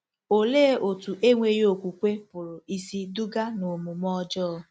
Olee otú enweghị okwukwe pụrụ isi duga n'omume ọjọọ?